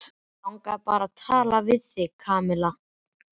Mig langaði bara að tala við þig, Kamilla